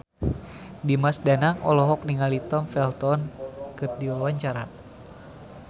Dimas Danang olohok ningali Tom Felton keur diwawancara